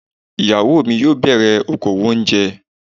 Ìyàwó mi yóò bẹ̀rẹ̀ okowò oúnjẹ.